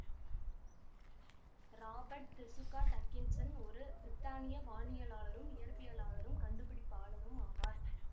Robert d'Escourt Atkinson ஒரு பிரித்தானிய வானியலாளரும் இயற்பியலாளரும் கண்டுபிடிப்பாளரும் ஆவார்